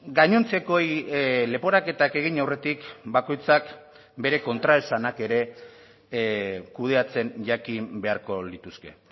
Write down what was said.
gainontzekoei leporaketak egin aurretik bakoitzak bere kontraesanak ere kudeatzen jakin beharko lituzke